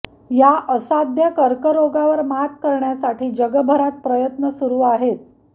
या असाध्य कर्करोगावर मात करण्यासाठी जगभरात प्रयत्न सुरू आहेत